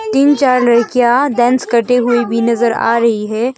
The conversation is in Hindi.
तीन चार लड़कियां डांस करते हुए भी नजर आ रही है।